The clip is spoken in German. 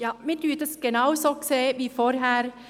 Wir sehen es genauso wie die Vorrednerin.